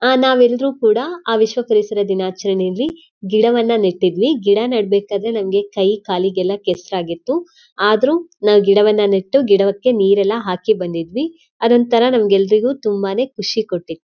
ಅಹ್ ನಾವೆಲ್ರು ಕೂಡ ಆ ವಿಶ್ವ ಪರಿಸರ ದಿನಾಚರಣೆಯಲ್ಲಿ ಗಿಡವನ್ನ ನೆಟ್ಟಿದ್ವಿ ಗಿಡ ನೀಡ್ಬೇಕಾದ್ರೆ ನಂಗೆ ಕೈ ಕಾಲಿಗೆಲ್ಲ ಕೆಸ್ರಾಗಿತ್ತುಆದ್ರು ನಾವ್ ಗಿಡವನ್ನ ನೆಟ್ಟು ಗಿಡಕ್ಕೆ ನೀರೆಲ್ಲ ಹಾಕಿ ಬಂದಿದ್ವಿ ಅದೊಂತರ ನಮ್ಗೆಲ್ರಿಗೂ ತುಂಬಾನೇ ಖುಷಿ ಕೊಟ್ಟಿತ್.